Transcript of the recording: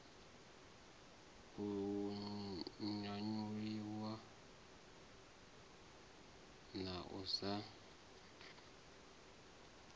u nyanyulwa na u sa